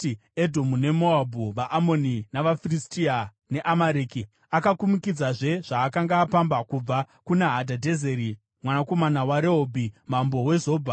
Edhomu neMoabhu, vaAmoni navaFiristia, neAmareki. Akakumikidzazve zvaakanga apamba kubva kuna Hadhadhezeri mwanakomana waRehobhi, mambo weZobha.